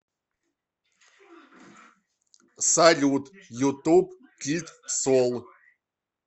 салют ютуб кид сол